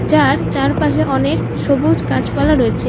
যার চারপাশে অনেক সবুজ গাছপালা রয়েছে।